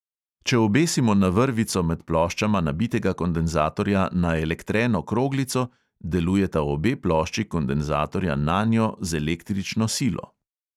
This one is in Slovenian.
Če obesimo na vrvico med ploščama nabitega kondenzatorja naelektreno kroglico, delujeta obe plošči kondenzatorja nanjo z električno silo.